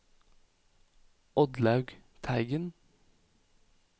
Oddlaug Teigen